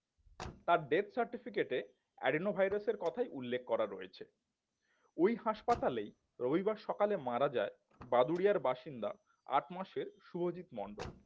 তার death certificate এ Adenovirus এর কথাই উল্লেখ করা রয়েছে ওই হাসপাতালেই রবিবার সকালে মারা যায় বাদুড়িয়ার বাসিন্দা আট মাসের শুভজিৎ মন্ডল